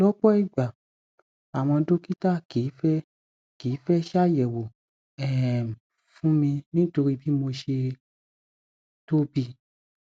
lọpọ ìgbà àwọn dọkítà kìí fẹ kìí fẹ ṣàyẹwọ um fún mi nítorí bí mo ṣe tóbi